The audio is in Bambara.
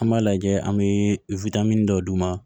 An b'a lajɛ an bɛ witamini dɔ d'u ma